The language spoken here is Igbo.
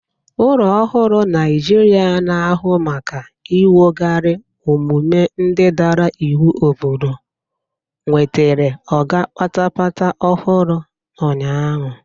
Ụlọ ọrụ Naijiria na-ahụ maka inwogari omume ndị dara iwu obodo nwetere ọga patapata ọhụrụ ụnyaahụ.